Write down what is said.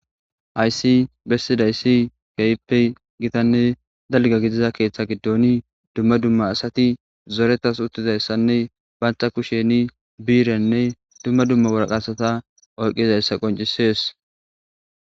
Hayssi bessidayssi keehippe gitanne dalga gidiza keeththa giddoni dumma dumma asati zoretas uttizayssanne baantha kusheni biirenne dumma dumma waraqasata olqizayssa qoncisees